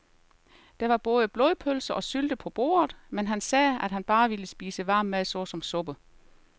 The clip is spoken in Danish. Der var både blodpølse og sylte på bordet, men han sagde, at han bare ville spise varm mad såsom suppe.